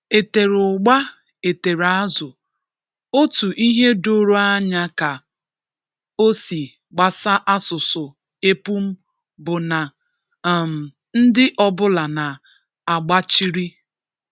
E tere ụgba, e tere azụ, otu ihe doro anya ka o si gbasa asụsụ epum bụ na um ndị ọbụla na-agbachiri